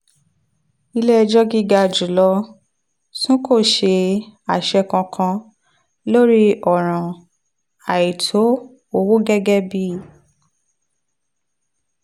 ilé ẹjọ́ gíga jù lọ tún kò ṣe àṣẹ kankan lórí ọ̀ràn àìtó owó gẹ́gẹ́ bí